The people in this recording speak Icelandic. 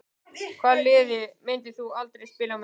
Hvaða liði myndir þú aldrei spila með?